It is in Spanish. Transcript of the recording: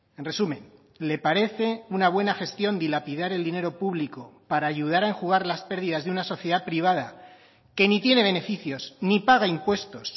en resumen le parece una buena gestión dilapidar el dinero público para ayudar a enjugar las pérdidas de una sociedad privada que ni tiene beneficios ni paga impuestos